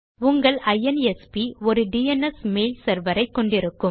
உங்கள் ஐஎன்எஸ்பி ஒரு டிஎன்எஸ் மெயில் செர்வர் ஐ கொண்டிருக்கும்